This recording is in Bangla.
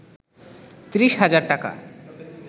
৩০ হাজার টাকা